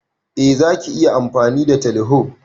Eh Zaki iya amfani da teleho.